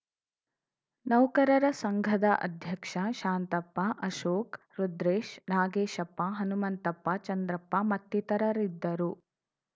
ನೌಕರರ ಸಂಘದ ಅಧ್ಯಕ್ಷ ಶಾಂತಪ್ಪ ಅಶೋಕ್‌ ರುದ್ರೆಶ್‌ ನಾಗೇಶಪ್ಪ ಹನುಮಂತಪ್ಪ ಚಂದ್ರಪ್ಪ ಮತ್ತಿತರರಿದ್ದರು